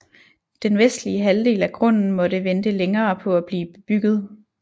Den vestlige halvdel af grunden måtte vente længere på at blive bebygget